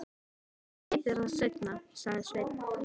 Ég segi þér það seinna, sagði Sveinn.